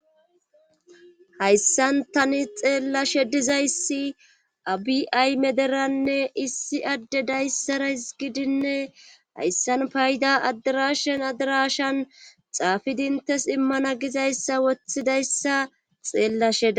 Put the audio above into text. Hayssan tani xeellashe dizayssi abiay mederanne issi adde dayssaras gidinne hayssan payda adirashen adirashan xaafidintes immana gizayssa wothidayssa xeellashea.